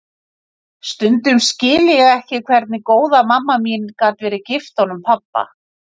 Stundum skil ég ekki hvernig góða mamma mín gat verið gift honum pabba.